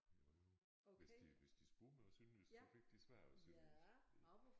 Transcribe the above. Jo jo hvis de hvis de spurgte mig på sønderjysk så fik de svar på sønderjysk det